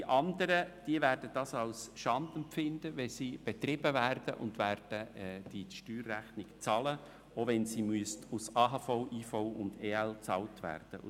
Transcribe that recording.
Die anderen werden es als Schande empfinden, wenn sie betrieben werden, und werden die Steuerrechnung bezahlen, selbst wenn sie aus AHV, IV und EL bezahlt werden müsste.